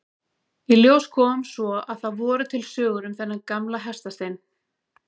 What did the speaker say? Í ljós kom svo að það voru til sögur um þennan gamla hestastein.